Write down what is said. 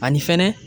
Ani fɛnɛ